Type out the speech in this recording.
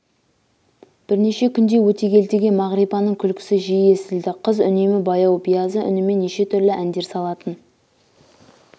бірнеше күндей өтегелдіге мағрипаның күлкісі жиі естілді қыз үнемі баяу биязы үнімен неше түрлі әндер салатын